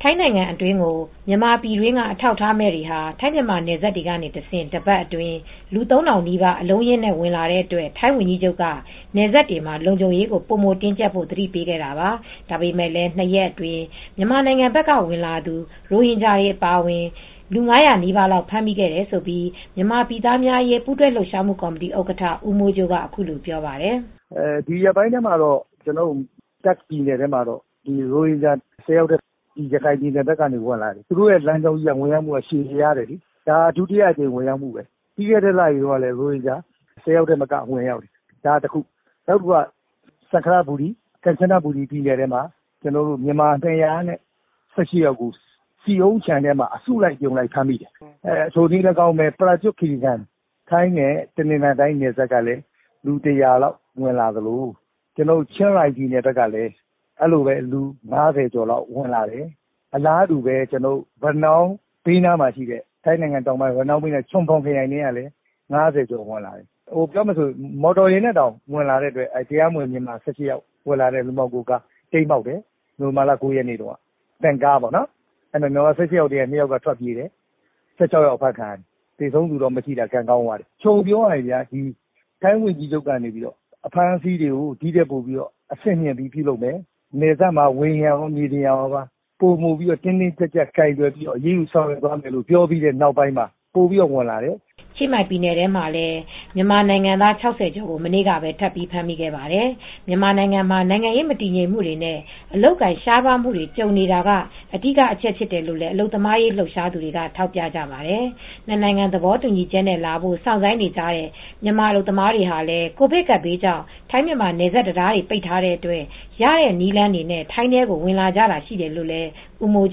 ထိုင်းနိုင်ငံအတွင်းကို မြန်မာပြည်တွင်းက အထောက်အထားမဲ့တွေဟာ ထိုင်း-မြန်မာနယ်စပ်တွေကနေတဆင့် တပတ်အတွင်း လူ ၃,၀၀၀ နီးပါး အလုံးအရင်းနဲ့ ဝင်လာတဲ့အတွက် ထိုင်းဝန်ကြီးချုပ်က နယ်စပ်တွေမှာ လုံခြုံရေးကို ပိုမိုတင်းကျပ်ဖို့ သတိပေးခဲ့တာပါ။ ဒါပေမယ့်လည်း ၂ ရက်အတွင်း မြန်မာနိုင်ငံဘက်က ဝင်လာသူ ရိုဟင်ဂျာတွေ အပါအဝင် ၅၀၀ နီးပါးလောက် ဖမ်းမိခဲ့တယ်လို့ မြန်မာပြည်သားများအရေး ပူးတွဲလှုပ်ရှားမှုကော်မတီ ဥက္ကဋ္ဌ ဦးမိုးကြိုးက အခုလိုပြောပါတယ်။ “ဒီရက်ပိုင်းအတွင်းမှာတော့ တာ့ခ်ပြည်နယ်ထဲမှာတော့ ရိုဟင်ဂျာ ၁၀ ယောက် ဝင်လာတယ်။ ရခိုင်ပြည်နယ်ဘက်ကနေ လာကြတာ။ သူတို့ဝင်လာတဲ့ လမ်းကြောင်းကြီးက ရှည်လျားတယ်။ ဒါက ဒုတိယအကြိမ် ဝင်ရောက်မှုလေ။ ပြီးခဲ့တဲ့လတုန်းကလည်း ရိုဟင်ဂျာ ၁၀ ဦးထက်မနည်း ဝင်ရောက်တယ်။ ဒါကတခု။ နောက်တခုက Sangkhlaburi ပေါ့၊ Kanchanaburi ပြည်နယ်ထဲမှာ မြန်မာ ၂၁၈ ယောက်ကို ဆီအုန်းခြံထဲမှာ အစုလိုက်အပြုံလိုက် ဖမ်းမိတယ်။ ထိုနည်းလည်းကောင်းပဲ Prachuap Khiri Khan ထိုင်း-တနင်္သာရီနယ်စပ်ကလည်း လူ ၁၀၀ လောက် ဝင်လာသလို ချင်းရိုင်ပြည်နယ်မှာလည်း လူ ၅၀ ကျော် ဝင်လာတယ်။ ထိုင်း ရနောင်းနဲ့နီးတဲ့ ချုံဖော်ခရိုင်မှာလည်း လူ ၅၀ ကျော် ဝင်လာတယ်။ “ပြောမယ်ဆိုရင် ကားနဲ့ဝင်လာတာလည်း ရှိတယ်။ လူမှောင်ခိုကား တိမ်းမှောက်တယ်။ ဗင်ကားနဲ့ ဝင်လာတယ်၊ မြန်မာ ၁၈ ယောက်ပါ့။ အဲဒီထဲမှာ မြန်မာ ၁၈ ယောက်ထဲက ၂ ယောက်က ထွက်ပြေးသွားတယ်။ ၁၆ ယောက် အဖမ်းခံရတယ်။ သေတဲ့သူမရှိတာ ကံကောင်းသွားတယ်။ ချုံပြီးပြောရရင် ထိုင်းဝန်ကြီးချုပ်က အဖမ်းအဆီးတွေကို ဒီထက်ပိုပြီး အဆင့်မြှင့်ပြီး ပြုလုပ်မယ်။ နယ်စပ်မှာ မြေပြင်ကိုရော ဝေဟင်ကနေပါ ပိုမိုတင်းကျပ်ပြီး အရေးယူဆောင်ရွက်မယ်လို့ ပြောပြီးတဲ့နောက်ပိုင်းမှာ ပိုပြီးဝင်လာတယ်။” ချင်းမိုင်ပြည်နယ်ထဲမှာ မြန်မာနိုင်ငံသား ၆၀ ကျော်ကို မနေ့ကပဲ ထပ်ပြီး ဖမ်းမိခဲ့ပါတယ်။ မြန်မာနိုင်ငံမှာ နိုင်ငံရေး မတည်ငြိမ်မှုနဲ့ အလုပ်အကိုင် ရှားပါးမှုတွေ ကြုံနေတာက အဓိကအချက်ဖြစ်တယ်လို့ အလုပ်သမားရေး လှုပ်ရှားသူတွေက ထောက်ပြကြပါတယ်။ နှစ်နိုင်ငံ သဘောတူညီချက်နဲ့ လာဖို့ စောင့်ဆိုင်းနေကြတဲ့ မြန်မာအလုပ်သမားတွေဟာလည်း ကိုဗစ်ကပ်ဘေးကြောင့် ထိုင်း-မြန်မာ နယ်စပ်တံတားတွေ ပိတ်ထားတဲ့အတွက် ရတဲ့နည်းလမ်းတွေနဲ့ ထိုင်းထဲကို ဝင်လာကြတာလည်း ရှိတယ်လို့ ဦးမိုး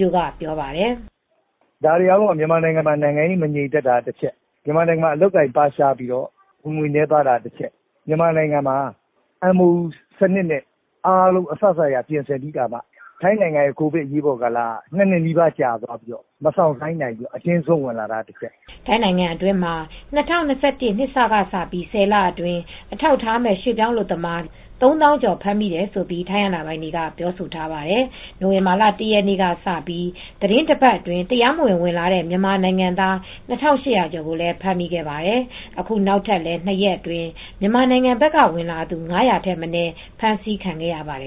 ကြိုးက ပြောပါတယ်။ “ဒါတွေအားလုံးက မြန်မာနိုင်ငံမှာ နိုင်ငံရေး မငြိမ်သက်တာက တချက်၊ မြန်မာနိုင်ငံမှာ အလုပ်အကိုင်ရှားပါးပြီး ဝင်ငွေနည်းတာက တချက်၊ မြန်မာနိုင်ငံဘက်မှာ MOU စနစ်နဲ့ လာမယ်ဆိုပြီး အားလုံးပြင်ဆင်ပြီးခါမှ ထိုင်းမှာ ကိုဗစ်ကြောင့် ၂ နှစ်နီးပါး ကြာတဲ့အတွက် မစောင့်ဆိုင်းနိုင်ဘဲ အတင်းဇွတ်ဝင်လာတာက တချက်ပေါ့။” ထိုင်းနိုင်ငံအတွင်းမှာ ၂၀၂၁ နှစ်စကနေ ၁၀ လအတွင်း အထောက်အထားမဲ့ ရွှေ့ပြောင်းအလုပ်သမား ၃၀,၀၀၀ ကျော် ဖမ်းမိတယ်လို့ ထိုင်းအာဏာပိုင်တွေက ပြောဆိုထားပါတယ်။ နိုဝင်ဘာလ ၁ ရက်နေ့ကစပြီး သီတင်းတပတ်အတွင်း တရားမဝင် ဝင်လာတဲ့ မြန်မာနိုင်ငံသား ၂,၈၀၀ ကျော် ဖမ်းမိခဲ့ပါတယ်။ အခု နောက်ထပ်လည်း ၂ ရက်အတွင်း မြန်မာနိုင်ငံဘက်က ဝင်လာသူ ၅၀၀ ထက်မနည်း ဖမ်းဆီးခံခဲ့ရပါတယ်